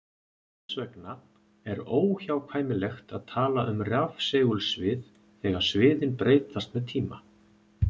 Þess vegna er óhjákvæmilegt að tala um rafsegulsvið þegar sviðin breytast með tíma.